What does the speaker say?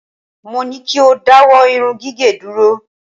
Mo ní kí o dáwọ́ irún gigẹ̀ dúró.